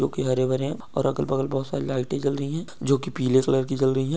जो कि हर भरे हैं और अगल-बगल बहोत सारी लाइटें जल रहीं हैं जो कि पीले कलर की जल रही हैं।